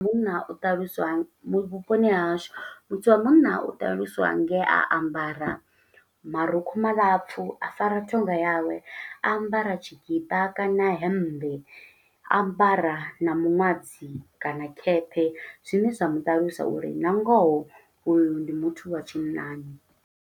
Munna u ṱaluswa, vhu vhuponi ha hashu, muthu wa munna u ṱaluswa nge a ambara marukhu malapfu. A fara ṱhonga yawe, a ambara tshikipa kana hemmbe. A ambara na miṅwadzi kana khephe, zwine zwa muṱalusa uri na ngoho uyu ndi muthu wa tshinnani.